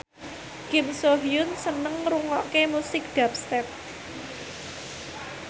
Kim So Hyun seneng ngrungokne musik dubstep